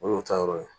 O y'o ta yɔrɔ ye